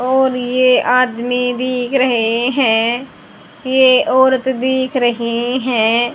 और ये आदमी दिख रहे हैं ये औरत दिख रही हैं।